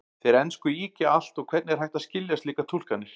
Þeir ensku ýkja allt og hvernig er hægt að skilja slíkar túlkanir?